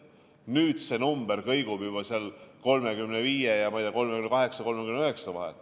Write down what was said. Nüüd kõigub see number juba seal 35 ja 39 vahel.